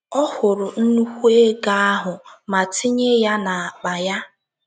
Ọ hụrụ nnùkwù ego ahụ ma tinye ya n’akpa ya.